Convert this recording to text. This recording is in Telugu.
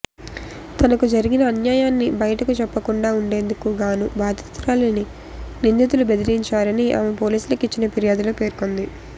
తనకు జరిగిన అన్యాయాన్ని బయటకు చెప్పకుండా ఉండేందుకు గాను బాధితురాలిని నిందితులు బెదిరించారని ఆమె పోలీసులకు ఇచ్చిన ఫిర్యాదులో పేర్కొంది